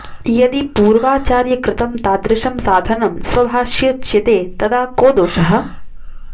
यदि पूर्वाचार्यकृतं तादृशं साधनं स्वभाषयोच्यते तदा को दोषः